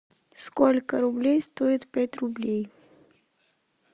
сколько рублей стоит пять рублей